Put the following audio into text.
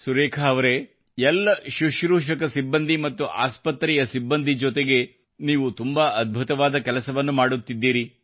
ಸುರೇಖಾ ಅವರೇ ಎಲ್ಲ ಸುಶ್ರೂಷಕ ಸಿಬ್ಬಂದಿ ಮತ್ತು ಆಸ್ಪತ್ರೆಯ ಸಿಬ್ಬಂದಿ ಜೊತೆಗೆ ನೀವು ತುಂಬಾ ಅದ್ಭುತವಾದ ಕೆಲಸವನ್ನು ಮಾಡುತ್ತಿದ್ದೀರಿ